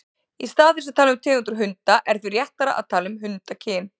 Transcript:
Í stað þess að tala um tegundir hunda er því réttara að tala um hundakyn.